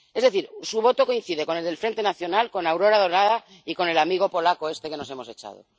Es decir, su voto coincide con el del Frente Nacional, con Aurora Dorada y con el amigo polaco este que nos hemos echado.